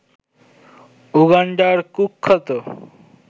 উগান্ডার কুখ্যাত